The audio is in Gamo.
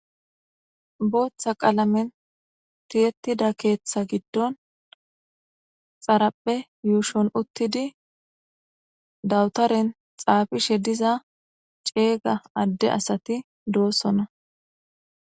Booththa qaalamen tiyettida keeththa giddon xarapphe yuushon uttidi dawutaren xaafishe diza ceeyga adde asati doossona.